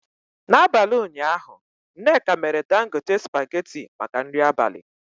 N'abalị ụnyaahụ nneka mere Dangote spaghetị maka nri abalị.